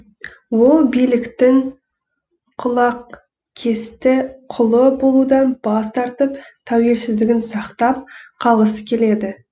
ол биліктің құлақкесті құлы болудан бас тартып тәуелсіздігін сақтап қалғысы келеді